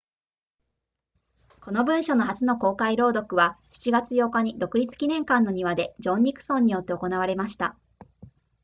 この文書の初の公開朗読は7月8日に独立記念館の庭でジョンニクソンによって行われました